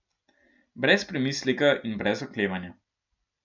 Brez premisleka in brez oklevanja.